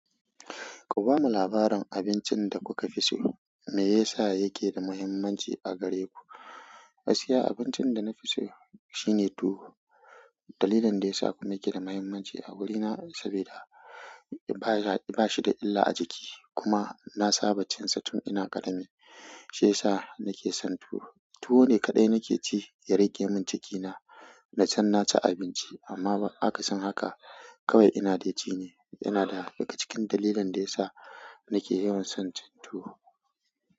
Ku bamu labarin abincin da kuka fi so, me yasa yake da muhimmanci a gare ku? Gaskiya, abincin da na fi so shine tuwo. Dalilin da ya sa kuma yake da muhimmanci a wurina saboda ba shi da illa a jiki kuma na saba da cin sa tun ina ƙarami. Shiyasa nake son tuwo. Tuwo ne kaɗai nake ci ya raƙe min cikina, na san na ci abinci amma ba aka san haka kawai ina dai cine yana daga cikin dalilin dayasa nake yawan son tuwo.